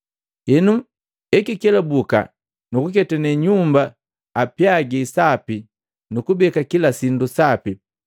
Henu ekikelabuka nukuketane nyumba apyagi sapi nukubeka kilasindu sapi.